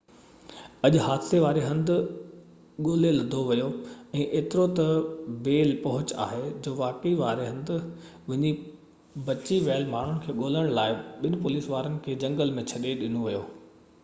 اڄ حادثي وارو هنڌ ڳولي لڌو ويو ۽ ايترو تہ بي پهچ آهي جو واقعي واري هنڌ وڃي بچي ويل ماڻهن کي ڳولڻ لاءِ ٻن پوليس وارن کي جهنگل ۾ ڇڏي ڏنو ويو